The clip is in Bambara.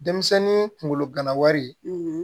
Denmisɛnnin kunkolo gana wari